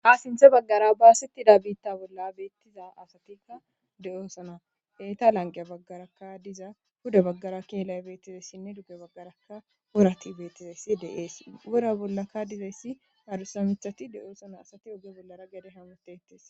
ha sinthe baggara bawasettida biitta bolla beettiza asatikka de7oosana eeta lanqeya baggaraka diza huda baggara keelay beettizaysinne dugge baggarakka orati beettizayssi de7ees wora bollaka dizayssi arusa mithati de7oosana asati oge bollara gede hamutetes